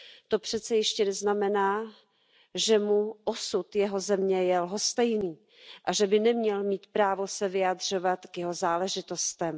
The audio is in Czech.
To přece ještě neznamená, že mu je osud jeho země lhostejný a že by neměl mít právo se vyjadřovat k jeho záležitostem.